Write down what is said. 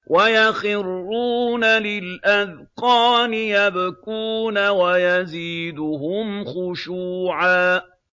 وَيَخِرُّونَ لِلْأَذْقَانِ يَبْكُونَ وَيَزِيدُهُمْ خُشُوعًا ۩